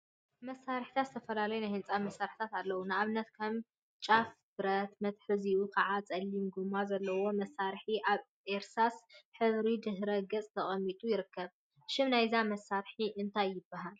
መሳርሒታት ዝተፈላዩ ናይ ህንፃ መሳርሒታት አለው፡፡ ንአብነት ከም ጫፉ ብረት መትሐዚኡ ከዓ ፀሊም ጎማ ዘለዎ መሳርሒ አብ እርሳስ ሕብሪ ድሕረ ገፅ ተቀሚጡ ይርከብ፡፡ ሽም ናይዛ መሳርሒ እንታይ ይበሃል?